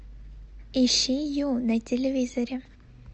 ищи ю на телевизоре